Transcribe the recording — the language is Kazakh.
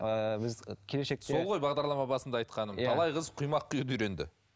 ііі біз келешекте сол ғой бағдарлама басындағы айтқаным иә талай қыз құймақ құюды үйренді